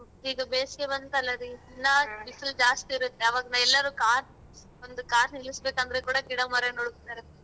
ಇದು ಬೇಸಿಗೆ ಬಂತಲ್ಲ ದಿನ ಬಿಸ್ಲು ಜಾಸ್ತಿ ಇರುತ್ತೆ ಅವಾಗ ಎಲ್ಲಾದರು ಕಾರ್ ಒಂದು ಕಾರ್ ನಿಲ್ಲಿಸ್ಬೇಕಂದ್ರು ಕೂಡಾ ಗಿಡ ಮರ ನೋಡುತ್ತಾರೆ.